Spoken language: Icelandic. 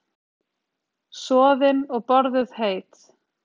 Soðin og borðuð heit.